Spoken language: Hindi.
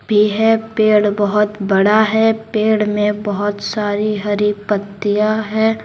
भी है पेड़ बहुत बड़ा है पेड़ में बहुत सारी हरी पत्तियां है।